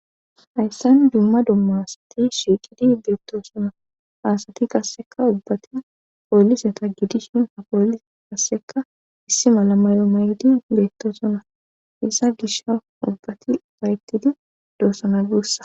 Hayssan dumma dumma sati shiiqidi beetto sona aasati kasseka ubbati pooliseta gidis shin ha pooli kasseka issi malama yo mayidi beettosona isa gisha ubbati payettidi doosana guussa